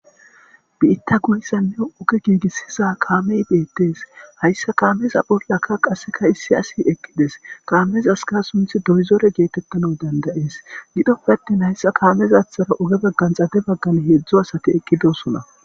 Biitta guyssanne oge giigissiza kaamey beettees hayssa kaameza pollaka qasseka issi asi eqqides kaamez aska sunthi doyzore geetettano dandayees gidoppe attin hayssa kaamezathara oge baggan xade baggan heedzdzo asati eqqidosona.